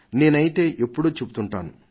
నేనైతే ఎప్పుడూ చెబుతుంటాను